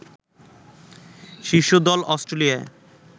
শীর্ষ দল অস্ট্রেলিয়া